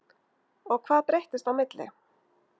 En hvað breyttist á milli?